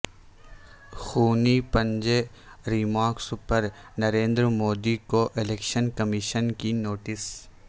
خونی پنجہ ریمارکس پر نریندرمودی کو election commission کی نوٹس